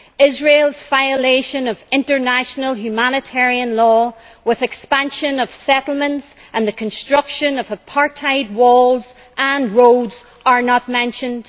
Israel's violation of international humanitarian law, with the expansion of settlements and the construction of apartheid walls and roads are not mentioned.